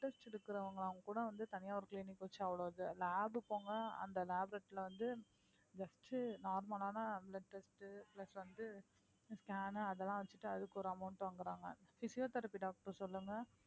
இருக்கறவங்க கூட வந்து தனியா ஒரு clinic வெச்சு lab போங்க அந்த வந்து just normal ஆன அந்த blood test plus வந்து scan அதெல்லாம் வெச்சிட்டு அதுக்கு ஒரு amount வாங்கறாங்க physiotherapy doctor சொல்லுங்க